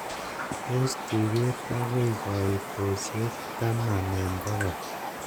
pos tuget agoi koitosiek taman en bogol